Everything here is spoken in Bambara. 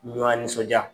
Ɲɔn nisɔndiya